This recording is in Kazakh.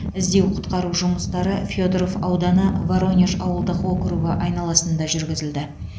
іздеу құтқару жұмыстары федоров ауданы воронеж ауылдық округі айналасында жүргізілді